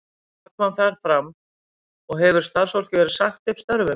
Hvað kom þar fram og hefur starfsfólki verið sagt upp störfum?